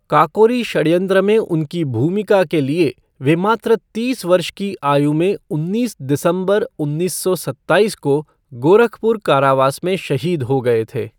काकोरी षडयंत्र में उनकी भूमिका के लिए वे मात्र तीस वर्ष की आयु में उन्नीस दिसंबर, उन्नीस सौ सत्ताईस को गोरखपुर कारावास में शहीद हो गए थे।